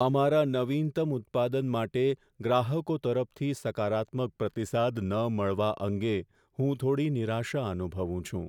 અમારા નવીનતમ ઉત્પાદન માટે ગ્રાહકો તરફથી સકારાત્મક પ્રતિસાદ ન મળવા અંગે હું થોડી નિરાશા અનુભવું છું.